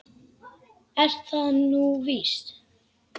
Er það nú víst ?